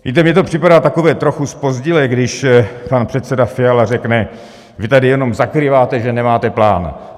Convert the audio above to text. Víte, mně to připadá takové trochu zpozdilé, když pan předseda Fiala řekne: Vy tady jenom zakrýváte, že nemáte plán.